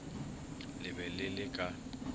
le be le le ka